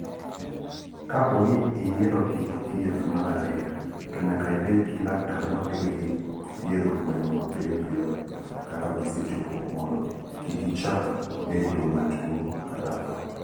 Kapo ni iyiero kit thieth mar ariyo, to nyaka ibed gi laktar mabiro thiedho gweno mapiyo kaka gisechopo mondo kik gichak bedo matuwo kata tho.